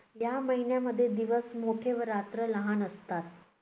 या महिन्यामध्ये दिवस मोठे व रात्र लहान असतात.